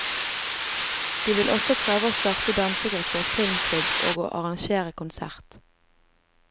De vil også prøve å starte dansegruppe og filmklubb og å arrangere konsert.